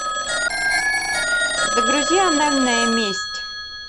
загрузи анальная месть